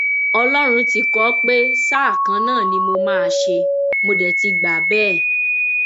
ọlọrun ti kọ ọ pé sáà kan náà ni mo máa ṣe mo dé ti gbà bẹẹ